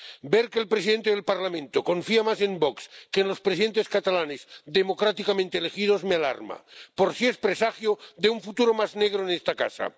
Ver que el presidente del Parlamento confía más en VOX que en los presidentes catalanes democráticamente elegidos me alarma por si es presagio de un futuro más negro en esta casa.